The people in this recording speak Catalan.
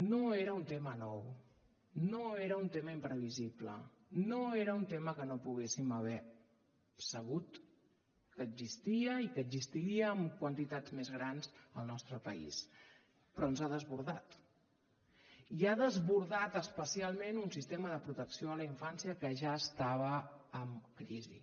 no era un tema nou no era un tema imprevisible no era un tema que no poguéssim haver sabut que existia i que existiria en quantitats més grans al nostre país però ens ha desbordat i ha desbordat especialment un sistema de protecció de la infància que ja estava en crisi